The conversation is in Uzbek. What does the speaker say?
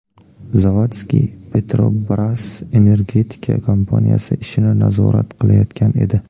Zavadski Petrobras energetika kompaniyasi ishini nazorat qilayotgan edi.